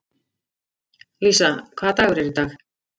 Lísa, hvaða dagur er í dag?